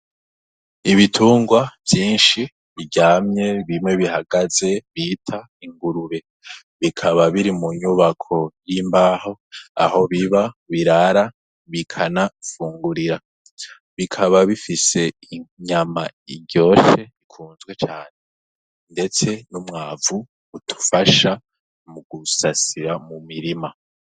Ibitungwa vyinshi biryamye bimwe bihagaze bita ingurube bikaba biri mu nyubako y'imbaho aho biba birara bikanapfungurira bikaba bifise inyama iryoshe ikunzwe cane, ndetse n'umwamu vu utufasha mu gusasira mu mirima.